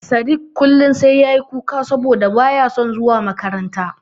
Sadik kullum sai ya yi kuka saboda ba ya son zuwa makaranta.